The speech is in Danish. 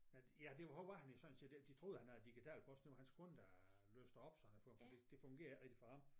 Ja det var han jo sådan set ikke de troede han havde digital post det var hans kone der låste op sådan det fungerede ikke for ham